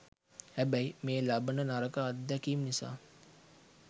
හැබැයි මේ ලබන නරක අත්දැකීම් නිසා